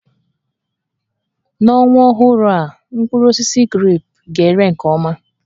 N'ọnwa ọhụrụ a, mkpụrụ osisi grepụ ga-ere nke ọma